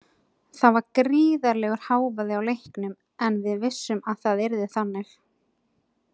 Það var gríðarlegur hávaði á leiknum en við vissum að það yrði þannig.